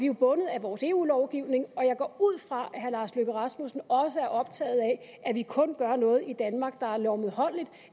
jo bundet af vores eu lovgivning og jeg går ud fra at herre lars løkke rasmussen også er optaget af at vi kun gør noget i danmark der er lovmedholdeligt